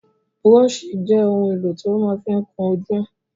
Búróṣì jẹ́ ohun èlò tí wọ́n ma fí ń kún ojú.